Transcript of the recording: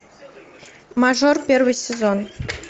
мажор первый сезон